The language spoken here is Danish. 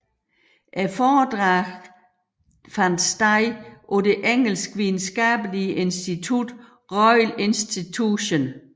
Foredragene fandt sted på det engelske videnskabelige institut Royal Institution